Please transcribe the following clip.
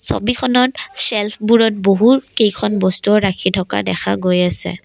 ছবিখনত চেল্ফবোৰত বহুতকেইখন বস্তু ৰাখি থকা দেখা গৈ আছে।